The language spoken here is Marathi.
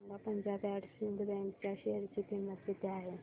सांगा पंजाब अँड सिंध बँक च्या शेअर ची किंमत किती आहे